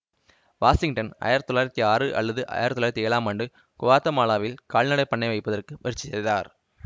Washington ஆயிரத்தி தொள்ளாயிரத்தி ஆறு அல்லது ஆயிரத்தி தொள்ளாயிரத்தி ஏழாம் ஆண்டு குவாத்தமாலாவில் கால்நடை பண்ணை வைப்பதற்கு முயற்சி செய்தார்